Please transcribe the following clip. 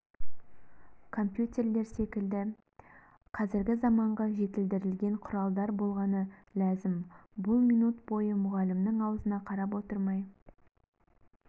компьютерлер секілді қазіргі заманғы жетілдірілген құралдар болғаны ләзім бұл минут бойы мұғалімнің аузына қарап отырмай